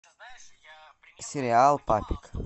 сериал папик